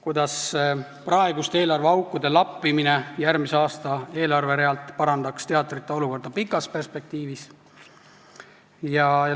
Kuidas praeguste eelarveaukude lappimine järgmise aasta eelarverea abil parandaks teatrite olukorda pikas perspektiivis?